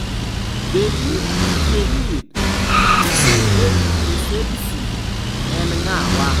Beji Caid Essebsi en ng'awa?